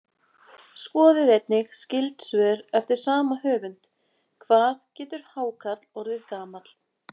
Skoðið einnig skyld svör eftir sama höfund: Hvað getur hákarl orðið gamall?